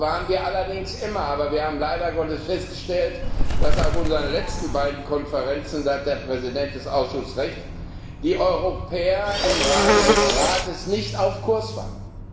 Das waren wir allerdings immer, aber wir haben leider Gottes festgestellt, dass auf unseren letzten beiden Konferenzen da hat der Vorsitzende des Ausschusses Recht die Europäer im Rahmen des Rates nicht auf Kurs waren.